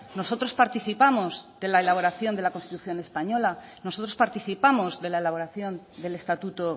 nosotros participamos de la elaboración de la constitución española nosotros participamos de la elaboración del estatuto